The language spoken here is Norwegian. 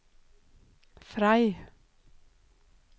Frei